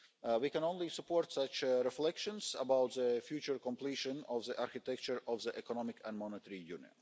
We can only support such reflections about the future completion of the architecture of the EMU.